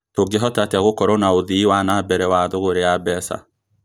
Tũngĩhota atĩa gĩkorwo na ũthii wa nambere wa thũgũri ya mbeca